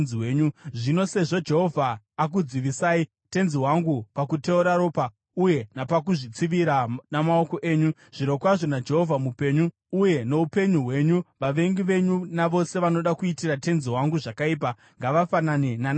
“Zvino sezvo Jehovha akudzivisai, tenzi wangu, pakuteura ropa uye napakuzvitsivira namaoko enyu, zvirokwazvo naJehovha mupenyu, uye noupenyu hwenyu, vavengi venyu navose vanoda kuitira tenzi wangu zvakaipa ngavafanane naNabhari.